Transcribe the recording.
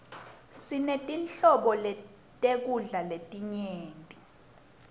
sinetinhlobo tekudla letinyenti